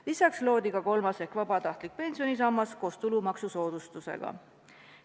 Lisaks loodi ka kolmas ehk vabatahtlik pensionisammas koos tulumaksusoodustusega.